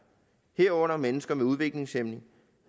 herunder mennesker med udviklingshæmning